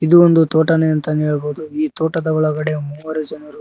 ಇದು ಒಂದು ತೋಟನೇ ಅಂತನೇ ಹೇಳ್ಬೋದು ಈ ತೋಟದ ಒಳಗಡೆ ಮೂವರು ಜನರು--